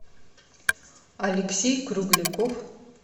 алексей кругляков